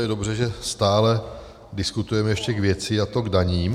Je dobře, že stále diskutujeme ještě k věci, a to k daním.